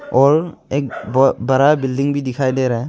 और एक बड़ा बिल्डिंग भी दिखाई दे रहा है।